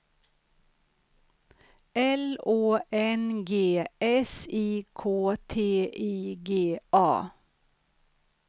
L Å N G S I K T I G A